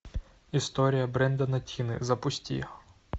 история брэндона тины запусти